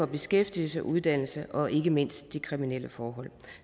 beskæftigelse uddannelse og ikke mindst de kriminelle forhold